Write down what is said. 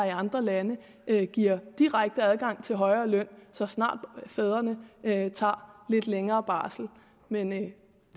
i andre lande giver direkte adgang til højere løn så snart fædrene tager lidt længere barsel men det